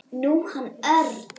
Nú, hann Örn.